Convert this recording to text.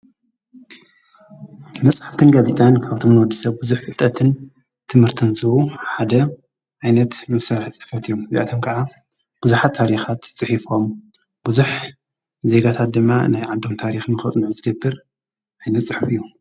መጽሓትትን ጋቢጠን ካብቶም ኖዲ ሰብ ብዙኅ ፍልጠትን ትምህርትንዝቡ ሓደ ዓይነት ንሠርሕጸፈት እዩም እዚኣቶም ከዓ ብዙኃት ታሪኻት ጽሒፎም ብዙኅ ዜጋታት ድማ ናይ ዓዶም ታሪኽ ንከፅንዑ ዝገብር ኣይነት ጽሕፍ እዩ።